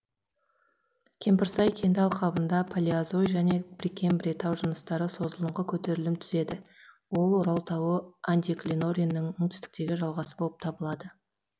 кемпірсай кенді алқабында палеозой және прекембрий тау жыныстары созылыңқы көтерілім түзеді ол орал тауы антиклинорийінің оңтүстіктегі жалғасы болып табылады